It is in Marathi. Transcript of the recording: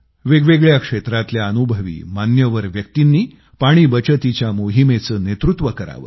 वेगवेगळ्या क्षेत्रातल्या अनुभवी मान्यवर व्यक्तींनी पाणी बचतीच्या मोहिमेचे नेतृत्व करावं